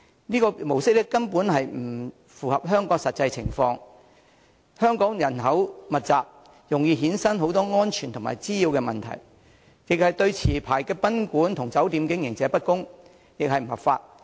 這種模式根本不符合香港的實際情況，原因是香港人口密集，這種模式容易衍生很多安全和滋擾問題，亦對持牌賓館和酒店經營者不公，更不合法。